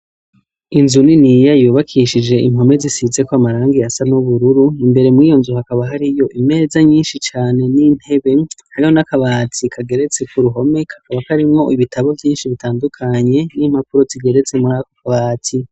Inzu niniya yubakishije impome zisizeko amarangi asa n'ubururu. Imbere mur'iyo nzu hakaba har'imeza nyinshi cane n'intebe, hamwe n'akabati kageretse k'uruhome, kakaba karimwo ibitabo vyinshi bitandukanye, n'impapuro zigeretse kuri ako kabati.